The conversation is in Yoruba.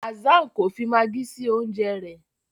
Hassan kọ fí Maggie sí oúnjẹ rẹ.